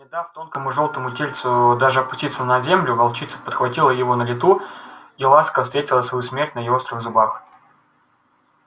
не дав тонкому жёлтому тельцу даже опуститься на землю волчица подхватила его на лету и ласка встретила свою смерть на её острых зубах